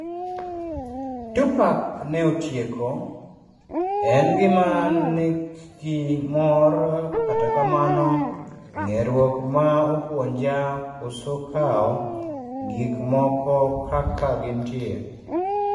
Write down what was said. Tupac ne otieko: en gima nikgi mor kata kamano ng'eruok na opuonja koso kawo gik moko kaka gintie